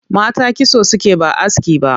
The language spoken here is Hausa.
Mata kitso suke ba aski ba